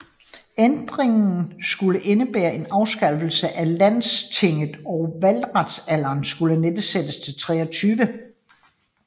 Ændringen skulle indebære en afskaffelse af landstinget og valgretsalderen skulle nedsættes til 23